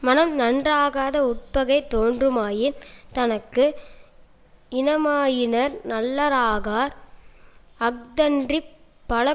மனம் நன்றாகாத உட்பகை தோன்றுமாயின் தனக்கு இனமாயினார் நல்லராகார் அஃதன்றிப் பல